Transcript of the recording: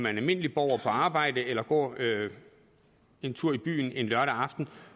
en almindelig borger på arbejde eller går en tur i byen en lørdag aften